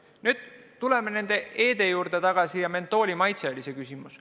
Aga tuleme nende e-de juurde tagasi: mentooli maitse kohta oli küsimus.